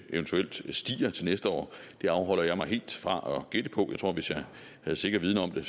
eventuelt stiger til næste år det afholder jeg mig helt fra at gætte på og tror at hvis jeg havde sikker viden om det